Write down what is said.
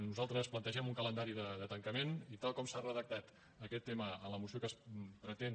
nosaltres plantegem un calendari de tancament i tal com s’ha redactat aquest tema a la moció que es pretén